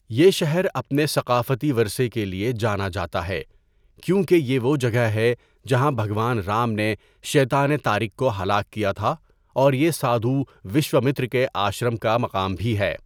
یہ شہر اپنے ثقافتی ورثے کے لیے جانا جاتا ہے کیونکہ یہ وہ جگہ ہے جہاں بھگوان رام نے شیطان تارک کو ہلاک کیا تھا اور یہ سادھو وشوامترا کے آشرم کا مقام بھی ہے۔